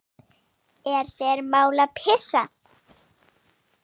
Er þér mál að pissa?